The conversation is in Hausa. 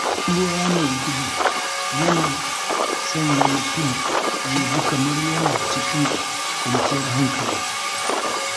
Ruwa mai gudu yana sanya mutum ya ji kamar yana cikin kwanciyar hankali.